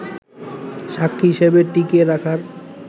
সাক্ষী হিসেবে টিকিয়ে রাখার